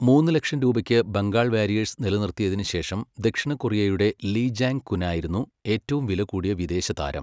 മൂന്ന് ലക്ഷം രൂപയ്ക്ക് ബംഗാൾ വാരിയേഴ്സ് നിലനിർത്തിയതിന് ശേഷം ദക്ഷിണ കൊറിയയുടെ ലീ ജാങ് കുനായിരുന്നു ഏറ്റവും വില കൂടിയ വിദേശ താരം.